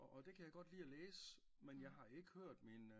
Og det kan jeg godt lige at læse men jeg har ikke hørt min